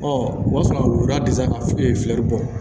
o b'a sɔrɔ woda tɛ se ka fɛɛri bɔ